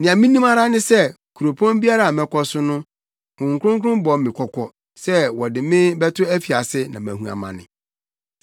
Nea minim ara ne sɛ kuropɔn biara a mɛkɔ so no, Honhom Kronkron bɔ me kɔkɔ sɛ wɔde me bɛto afiase na mahu amane.